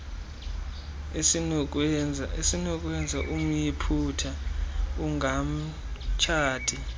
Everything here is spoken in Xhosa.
esinokwenza umyiputa angamtshati